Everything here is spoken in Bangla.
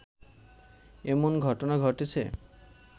এমন ঘটনা ঘটেছে